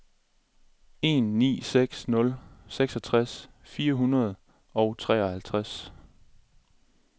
en ni seks nul seksogtres fire hundrede og treoghalvtreds